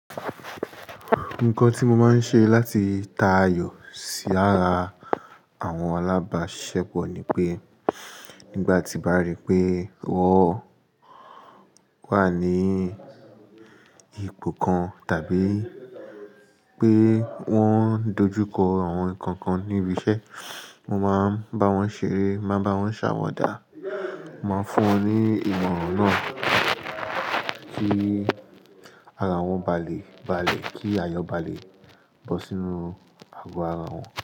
Nǹkan tí mo máa ń ṣe láti ta ayọ̀ sí ara àwọn alábáṣepọ̀ ni pé nígbà tí mo bá rí pé wọ́n wà ní ipò kan tàbí pé wọ́n dojú kọ àwọn nǹkan kan níbi iṣẹ́, mo máa bá wọn ṣeré, máa bá wọn ṣàwadà, máa fún wọn ní ìmọ̀ràn náà kí ara wọn ba lè balẹ̀, kí ayọ̀ ba lè bọ́ sínú ago ara wọn.